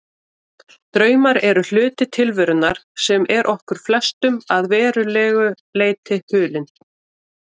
Draumar eru hluti tilverunnar sem er okkur flestum að verulegu leyti hulinn.